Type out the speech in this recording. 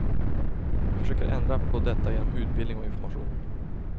Vi försöker ändra på detta genom utbildning och information.